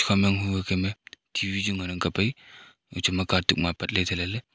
ekha ma yang hu ba kem ae T_V chu ngan ang kap ae echu ma katuk ma apat ley thai ley ley.